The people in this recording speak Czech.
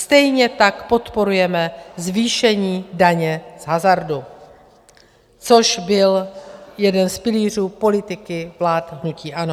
Stejně tak podporujeme zvýšení daně z hazardu, což byl jeden z pilířů politiky vlád hnutí ANO.